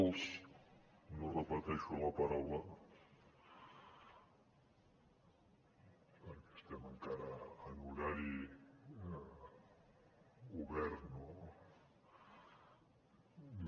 no repeteixo la paraula perquè estem encara en horari obert no diu